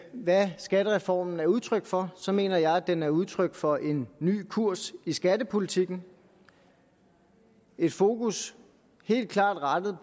hvad skattereformen er udtryk for så mener jeg at den er udtryk for en ny kurs i skattepolitikken et fokus helt klart rettet